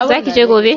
Zaki je gobe?